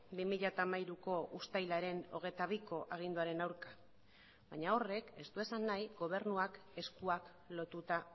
bi mila hamairuko uztailaren hogeita biko aginduaren aurka baina horrek ez du esan nahi gobernuak eskuak lotuta